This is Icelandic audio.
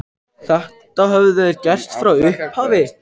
Þetta höfðu þeir gert frá upphafi